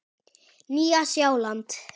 Nýja Sjáland